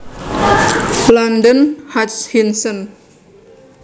London Hutchinson